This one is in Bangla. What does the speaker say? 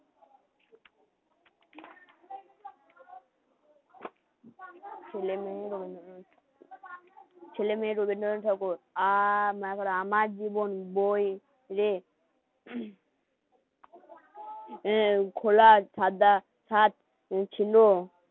মেয়ে রবীন্দ্রনাথ ঠাকুর আ এখন আমার জীবন বই রে হম